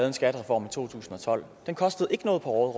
en skattereform i to tusind og tolv den kostede ikke noget på